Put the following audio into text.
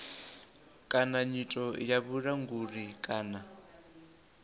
kana nyito ya vhulanguli kana